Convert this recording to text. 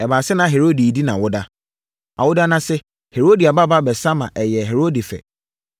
Ɛbaa sɛ na Herode redi nʼawoda. Awoda no ase Herodia babaa bɛsa ma ɛyɛɛ Herode fɛ.